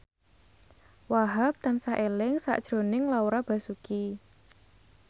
Wahhab tansah eling sakjroning Laura Basuki